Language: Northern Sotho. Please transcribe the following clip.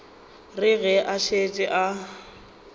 re ge a šetše a